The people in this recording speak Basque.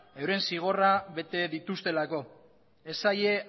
euren zigorra bete dituztelako ez zaie